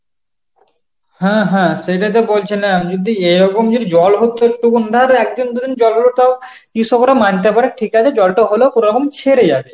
হ্যাঁ হ্যাঁ সেটাই তো বলছিলাম যদি এরকম যদি জল হচ্ছে একদিন দুদিন জল হল তাও কৃষকেরা মানতে পারে ঠিক আছে জলটা হলো কোনরকম ছেড়ে যাবে